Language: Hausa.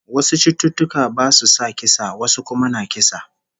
Wasu cututtuka basu sa kisa, wasu kuma na kisa